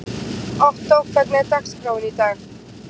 Ottó, hvernig er dagskráin í dag?